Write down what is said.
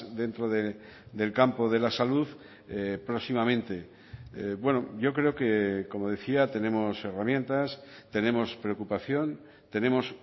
dentro del campo de la salud próximamente bueno yo creo que como decía tenemos herramientas tenemos preocupación tenemos